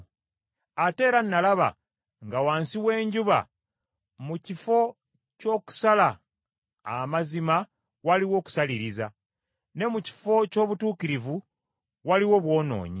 Ate era nalaba nga wansi w’enjuba, mu kifo ky’okusala amazima waliwo kusaliriza; ne mu kifo ky’obutuukirivu waliwo bwonoonyi.